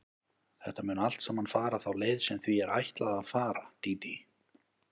Þetta mun allt saman fara þá leið sem því er ætlað að fara, Dídí.